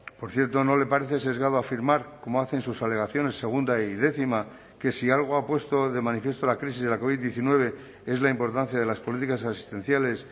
por cierto no le parece sesgado afirmar como hace en sus alegaciones segunda y décima que si algo ha puesto de manifiesto la crisis de la covid diecinueve es la importancia de las políticas asistenciales